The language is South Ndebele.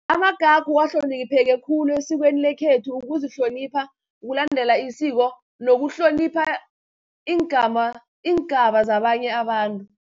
Amagagu ahlonipheke khulu esikweni lekhethu ukuzihlonipha, kulandela isiko, nokuhlonipha iingaba zabanye abantu.